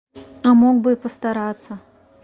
а мог бы и постараться